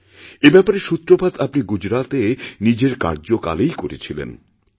এ ব্যাপারেরসূত্রপাত আপনি গুজরাতে নিজের কার্যকালেই করিয়েছিলেন স্যার